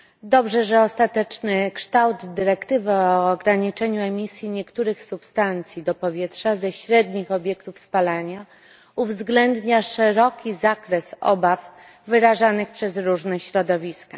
Dobrze, że ostateczny kształt dyrektywy o ograniczeniu emisji niektórych substancji do powietrza ze średnich obiektów spalania uwzględnia szeroki zakres obaw wyrażanych przez różne środowiska.